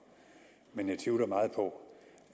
men jeg tvivler meget på